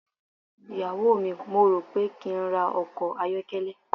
iyawo mi, mò ń rò ó pé kí n ra ọkọ̀ ayọ́kẹ́lẹ́.